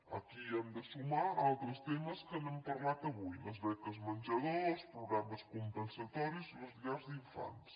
aquí hi hem de sumar altres temes que n’hem parlat avui les beques menjador els programes compensatoris i les llars d’infants